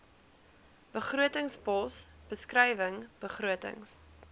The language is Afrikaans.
begrotingspos beskrywing begrotings